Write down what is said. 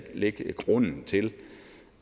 lægge grunden til